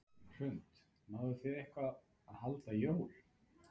Hrund: Náðuð þið eitthvað að halda jól?